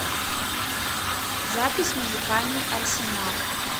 запись музыкальный арсенал